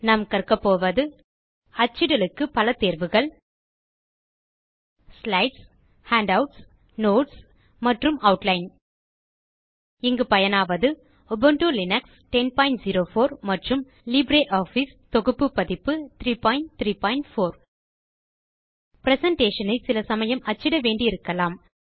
நாம் கற்கப் போவது அச்சிடலுக்கு பல தேர்வுகள் ஸ்லைட்ஸ் ஹேண்டவுட்ஸ் நோட்ஸ் மற்றும் ஆட்லைன் இங்கு பயனாவது உபுண்டு லினக்ஸ் 1004 மற்றும் லிப்ரியாஃபிஸ் தொகுப்பு பதிப்பு 334 பிரசன்டேஷன் ஐ சில சமயம் அச்சிட வேண்டியிருக்கலாம்